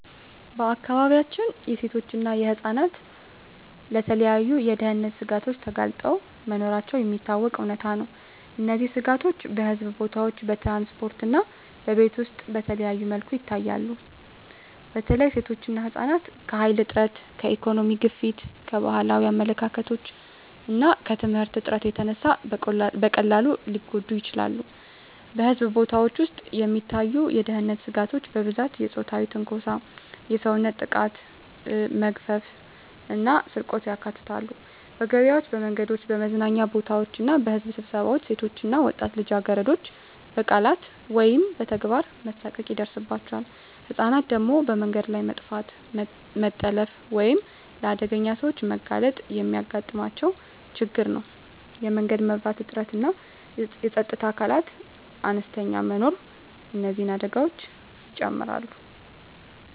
በአካባቢያችን ሴቶችና ህፃናት ለተለያዩ የደህንነት ስጋቶች ተጋልጠው መኖራቸው የሚታወቀው እውነታ ነው። እነዚህ ስጋቶች በሕዝብ ቦታዎች፣ በትራንስፖርት እና በቤት ውስጥ በተለያዩ መልኩ ይታያሉ። በተለይ ሴቶችና ህፃናት ከኃይል እጥረት፣ ከኢኮኖሚ ግፊት፣ ከባህላዊ አመለካከቶች እና ከየትምህርት እጥረት የተነሳ በቀላሉ ሊጎዱ ይችላሉ። በሕዝብ ቦታዎች ውስጥ የሚታዩ የደህንነት ስጋቶች በብዛት የፆታዊ ትንኮሳ፣ የሰውነት ጥቃት፣ መግፈፍ እና ስርቆትን ያካትታሉ። በገበያዎች፣ በመንገዶች፣ በመዝናኛ ቦታዎች እና በሕዝብ ስብሰባዎች ሴቶች እና ወጣት ልጃገረዶች በቃላት ወይም በተግባር መሳቀቅ ይደርሳባቸዋል። ህፃናት ደግሞ በመንገድ ላይ መጥፋት፣ መታለፍ ወይም ለአደገኛ ሰዎች መጋለጥ የሚያጋጥማቸው ችግር ነው። የመንገድ መብራት እጥረትና የፀጥታ አካላት አነስተኛ መኖር እነዚህን አደጋዎች ይጨምራሉ።